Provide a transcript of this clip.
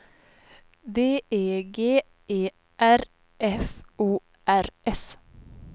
D E G E R F O R S